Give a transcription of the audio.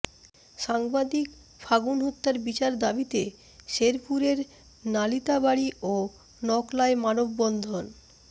সাংবাদিক ফাগুন হত্যার বিচার দাবিতে শেরপুরের নালিতাবাড়ী ও নকলায় মানববন্ধন